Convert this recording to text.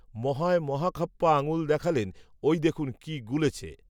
মহায় মহাখাপ্পা আঙুল দেখালেন, ওই দেখুন, কি গুলেছে